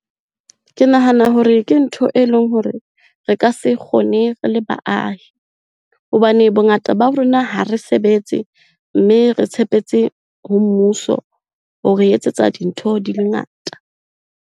Ke nahana hore ke ntho e leng hore re ka se e kgone rele baahi. Hobane bongata ba rona ha re sebetse, mme re tshepetse ho mmuso ho re etsetsa dintho di le ngata.